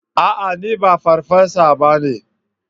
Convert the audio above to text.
A'a! Ni ba farfesa ba ne.